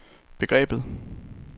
begrebet